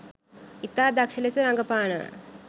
ඉතා දක්ෂ ලෙස රඟපානව